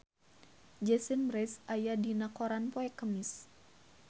Jason Mraz aya dina koran poe Kemis